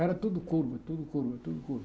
Era tudo curva, tudo curva, tudo curva.